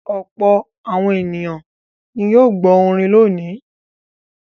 Ọ̀pọ̀ àwọn ènìyàn ni yóò gbọ́ orin lónìí.